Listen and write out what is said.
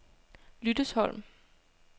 Lyttesholm